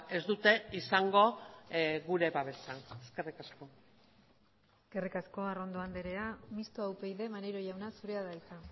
ez dute izango gure babesa eskerrik asko eskerrik asko arrondo andrea mistoa upyd maneiro jauna zurea da hitza